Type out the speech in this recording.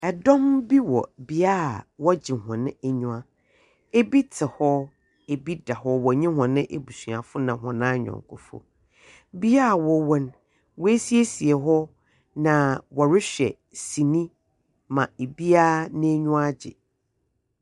Dɔm bi wɔ beaeɛ a wɔgye hɔn aniwa. Ebi te ho, ebi da hɔ ɔne hɔn abusuafo ne hɔn ayɔnkofo. Bea hɔn wɔ no, wɔɛsiesie hɔ na ɔrehwɛ sini ma obiara n'ani wagye.